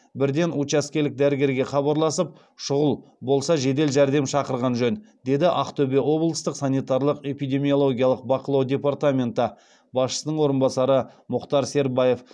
бірден учаскелік дәрігерге хабарласып шұғыл болса жедел жәрдем шақырған жөн деді ақтөбе облыстық санитарлық эпидемиологиялық бақылау департаменті басшысының орынбасары мұхтар сербаев